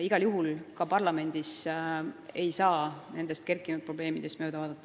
Igal juhul ka parlamendis ei saa nendest üles kerkinud probleemidest mööda vaadata.